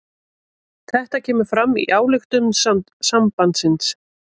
Þetta kemur fram í ályktun sambandsins